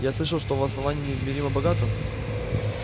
я слышал что основание неизмеримо богато